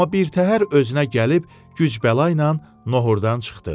Amma birtəhər özünə gəlib güc-bəla ilə nohhurdan çıxdı.